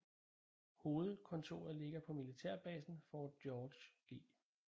Hovedkvarteret ligger på militærbasen Fort George G